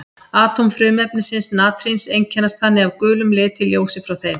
Atóm frumefnisins natríns einkennast þannig af gulum lit í ljósi frá þeim.